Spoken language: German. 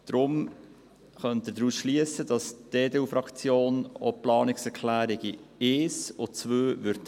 Daher können Sie daraus schliessen, dass auch die EDU-Fraktion die Planungserklärungen 1 und 2 annehmen wird.